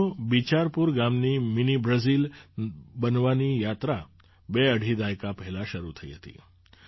સાથીઓ બિચારપુર ગામની mini Brazil બનવાની યાત્રા બેઅઢી દાયકા પહેલાં શરૂ થઈ હતી